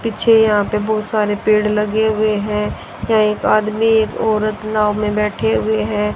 पीछे यहां पे बहुत सारे पेड़ लगे हुए हैं यहां एक आदमी एक औरत नाव में बैठे हुए हैं।